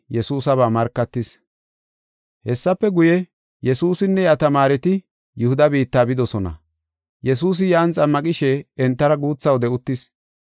Hessafe guye, Yesuusinne iya tamaareti Yihuda biitta bidosona. Yesuusi yan xammaqishe entara guutha wode uttis.